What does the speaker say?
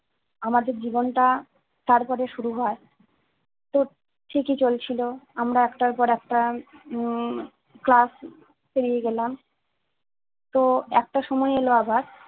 আমাদের জীবনটা তারপরে শুরু হয় তো ঠিক ই চলছিল আমরা একটার পর একটা উম class পেরিয়ে গেলাম তো একটা সময় এলো আবার